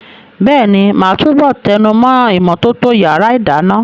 Bẹ́ẹ̀ni, màá túbọ̀ tẹnumọ́ ìmọ́tótó yàrá ìdáná.